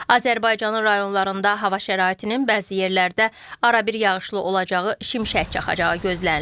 Azərbaycanın rayonlarında hava şəraitinin bəzi yerlərdə arabir yağışlı olacağı, şimşək çaxacağı gözlənilir.